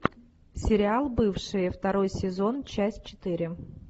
сериал бывшие второй сезон часть четыре